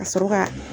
Ka sɔrɔ ka